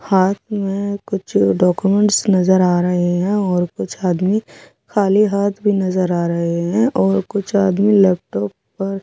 हाथ में कुछ डाक्यूमेंट्स नजर आ रहे हैं और कुछ आदमी खाली हाथ भी नजर आ रहे हैं और कुछ आदमी लैपटॉप पर--